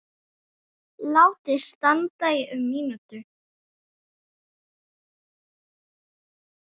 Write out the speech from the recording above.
Látið standa í um mínútu.